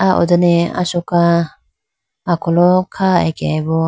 ah ho done asoka akholo kha akeyi bo.